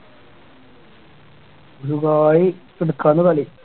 Dubai നടക്കാണ് കളി